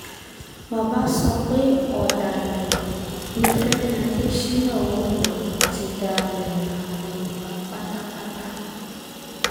bàbá sọ pé ọ̀dàlẹ̀ ni fẹ́mi adésínà ó lọ ti dalẹ̀ ìran yorùbá pátápátá